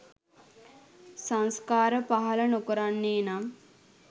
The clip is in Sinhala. සංස්කාර පහළ නොකරන්නේ නම්